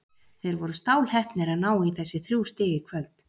Þeir voru stálheppnir að ná í þessi þrjú stig í kvöld.